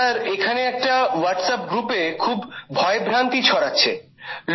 sir এখানে একটা WhatsApp গ্রুপে খুব ভয়ভ্রান্তি ছড়াচ্ছে